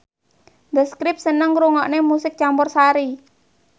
The Script seneng ngrungokne musik campursari